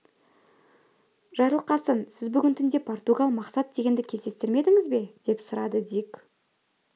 жарылқасын сіз бүгін түнде португал мақсат дегенді кездестірмедіңіз бе деп сұрады дик